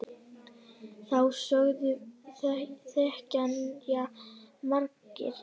Þá sögu þekkja margir.